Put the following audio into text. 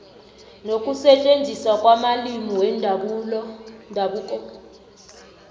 nokusetjenziswa kwamalimi wendabuko